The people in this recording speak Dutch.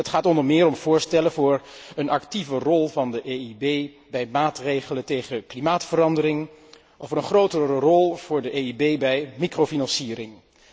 Het gaat onder meer om voorstellen voor een actieve rol van de EIB bij maatregelen tegen klimaatverandering en over een grotere rol van de EIB bij microfinanciering.